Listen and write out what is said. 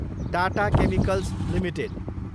Tata chemicals Ltd